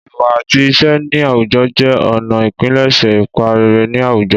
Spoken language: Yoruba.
Ìwà àti ìṣe ní àwùjọ jẹ́ ọ̀nà ìpilẹ̀ṣẹ̀ ipa rere ní àwùjọ.